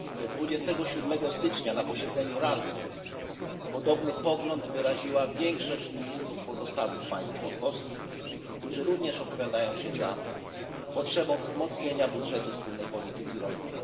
27 stycznia na posiedzeniu Rady podobny pogląd wyraziła większość ministrów z pozostałych państw członkowskich, którzy również opowiadają się za potrzebą wzmocnienia budżetu wspólnej polityki rolnej.